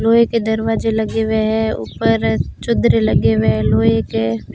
लोहे के दरवाजे लगे हुए हैं ऊपर चद्दरें लगे हुए लोहे के।